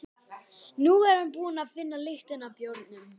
Nú er hann búinn að finna lyktina af bjórnum.